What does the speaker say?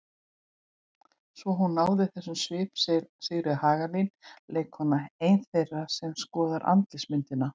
Svo hún náði þessum svip segir Sigríður Hagalín leikkona, ein þeirra sem skoða andlitsmyndina.